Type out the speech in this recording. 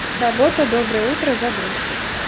работа доброе утро загрузки